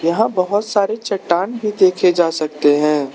यहां बहोत सारे चट्टान भी देखे जा सकते हैं।